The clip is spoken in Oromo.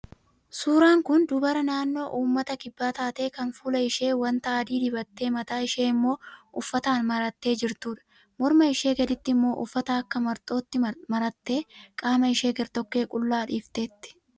Suuraan kun dubara naannoo uummata kibbaa taatee kan fuula ishee wanta adii dibattee mataa ishee immoo uffataan marattee jirtudha. Morma ishee gaditti immoo uffata akka marxootti marattee qaama ishee gartokkee qullaa dhiifteetti.